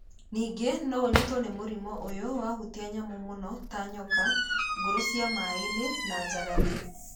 Ningĩ no ũnyitwo nĩ mũrimũ ũyũ wahutia nyamũ mũno ta nyoka, nguru cia maĩ-inĩ na njagathi.